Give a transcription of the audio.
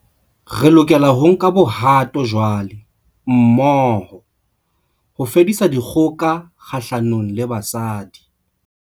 Re lokela ho nka bohato jwale, mmoho, ho fedisa dikgoka kgahlanong le basadi.